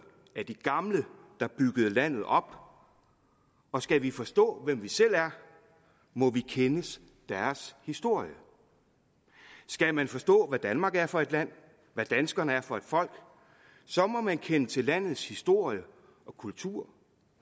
af de gamle der byggede landet op og skal vi forstå hvem vi selv er må vi kende deres historie skal man forstå hvad danmark er for et land og hvad danskerne er for et folk så må man kende til landets historie og kultur